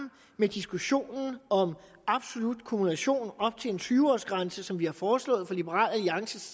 med diskussionen om absolut kumulation op til en tyve årsgrænse som vi har foreslået fra liberal alliances